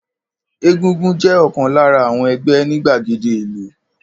Egúngún jẹ́ ọ̀kan lára àwon ẹgbẹ́ ní gbàgede ìlú.